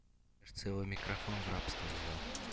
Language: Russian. в целом микрофон в рабство взял